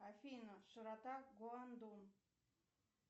афина широта гуандун